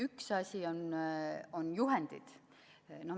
Üks asi on juhendid.